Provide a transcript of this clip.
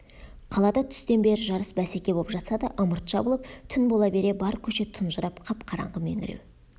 қалада түстен бері жарыс бәсеке боп жатса да ымырт жабылып түн бола бере бар көше тұнжырап қап-қараңғы меңіреу